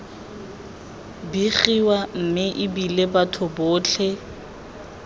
begiwa mme ebile batho botlhe